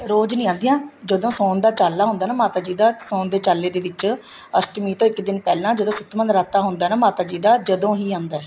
ਰੋਜ ਨਹੀਂ ਆਉਦੀਆਂ ਜਦੋਂ ਸੋਹਣ ਦਾ ਚਾਲਾ ਹੁੰਦਾ ਹੈ ਨਾ ਮਾਤਾ ਜੀ ਦਾ ਸੋਹਣ ਦੇ ਚਾਲੇ ਦੇ ਵਿੱਚ ਅਸ਼ਟਮੀ ਤੋਂ ਇੱਕ ਦਿਨ ਪਹਿਲਾਂ ਜਦੋਂ ਸੱਤਵਾ ਨਰਾਤਾਂ ਹੁੰਦਾ ਮਾਤਾ ਜੀ ਦਾ ਜਦੋਂ ਹੀ ਆਂਦਾ